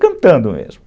Cantando mesmo.